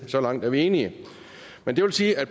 så langt er vi enige men det vil sige at